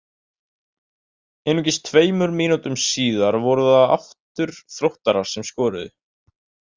Einungis tveimur mínútum síðar voru það aftur Þróttarar sem skoruðu.